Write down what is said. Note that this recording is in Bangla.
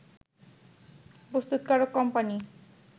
প্রস্তুতকারক কোম্পানি